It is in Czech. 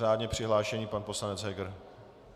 Řádně přihlášený pan poslanec Heger.